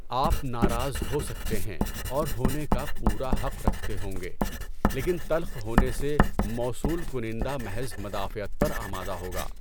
آپ ناراض ہو سکتے ہیں اور ہونے کا پورا حق رکھتے ہوں گے، لیکن تلخ ہونے سے موصول کنندہ محض مدافعت پر آمادہ ہوگا۔